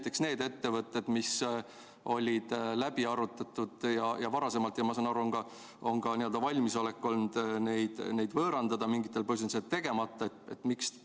Miks näiteks neid ettevõtteid, mis olid läbi arutatud ja mida varasemalt, ma saan aru, oldi valmis võõrandama, kuid mingitel põhjustel jäi see tegemata?